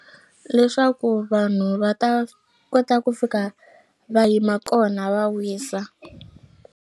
Leswaku vanhu va ta kota ku fika va yima kona va wisa.